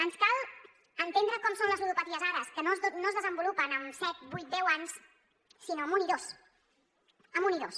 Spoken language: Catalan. ens cal entendre com són les ludopaties ara que no es desenvolupen en set vuit deu anys sinó en un i dos en un i dos